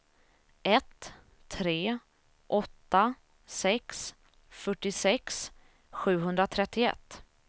ett tre åtta sex fyrtiosex sjuhundratrettioett